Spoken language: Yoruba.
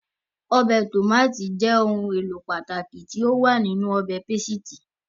Ọbẹ̀ Tòmátì is ohun èlò pàtàkì tí ó wà nínú ọbẹ̀ pásítà